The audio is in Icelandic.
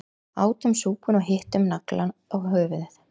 Átum súpuna og hittum naglann á höfuðið